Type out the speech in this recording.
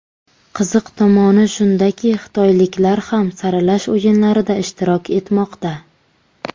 Qiziq tomoni shundaki, xitoyliklar ham saralash o‘yinlarida ishtirok etmoqda.